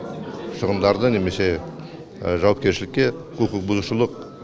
шығындарды немесе жауапкершілікке құқықбұзушылық